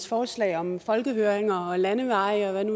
forslag om folkehøringer og landeveje og hvad det